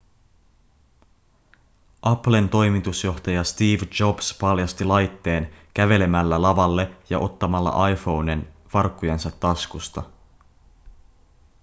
applen toimitusjohtaja steve jobs paljasti laitteen kävelemällä lavalle ja ottamalla iphonen farkkujensa taskusta